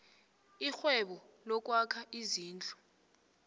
irhwebo lokwakha izindlu